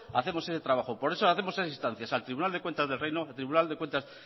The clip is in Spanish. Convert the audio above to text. hacemos ese trabajo por eso hacemos esas instancias al tribunal de cuentas del reino tribunal de cuentas